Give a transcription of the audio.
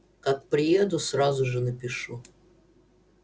как приеду сразу же напишу